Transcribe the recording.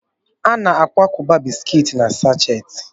A na-akwakọba bisikiiti na sasheti.